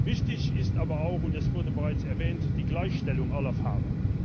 Wichtig ist aber auch es wurde bereits erwähnt die Gleichstellung aller Fahrer.